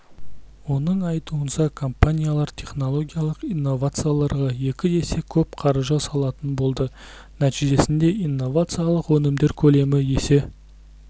оның айтуынша компаниялар технологиялық инновацияларға екі есе көп қаржы салатын болды нәтижесінде инновациялық өнімдер көлемі есе